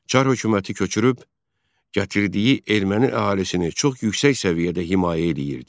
Çar hökuməti köçürüb gətirdiyi erməni əhalisini çox yüksək səviyyədə himayə edirdi.